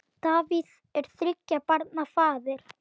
Davíð er þriggja barna faðir.